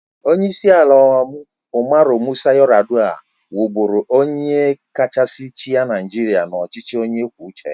Onyeisi ala Umaru Musa Yar'Adua wụ bụrụ onye kachasị chịa Naịjirịa n'ọchịchị onye kwuo uche ya.